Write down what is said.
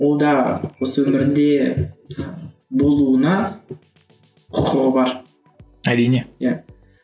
ол да осы өмірінде болуына құқығы бар әрине иә